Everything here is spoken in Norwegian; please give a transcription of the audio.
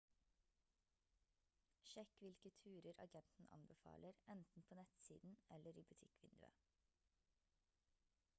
sjekk hvilke turer agenten anbefaler enten på nettsiden eller i butikkvinduet